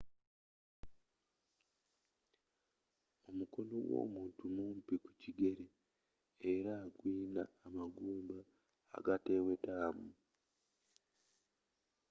omukono gwomuntu mumpi kukigere era guyina amagumba agatewetamu